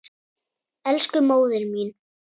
Elsku móðir mín.